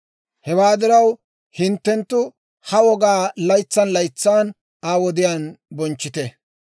Hewaa diraw, hinttenttu ha wogaa laytsan laytsan Aa wodiyaan bonchchite.